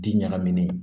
Di ɲagaminen